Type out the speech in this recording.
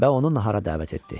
Və onu nahara dəvət etdi.